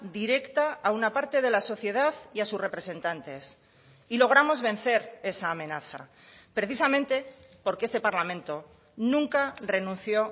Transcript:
directa a una parte de la sociedad y a sus representantes y logramos vencer esa amenaza precisamente porque este parlamento nunca renunció